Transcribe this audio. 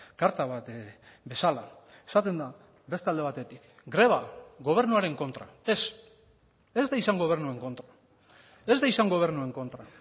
karta bat bezala esaten da beste alde batetik greba gobernuaren kontra ez ez da izan gobernuen kontra ez da izan gobernuen kontra